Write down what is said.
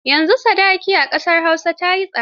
Yanzu sadaki a ƙasar Hausa ya yi tsada.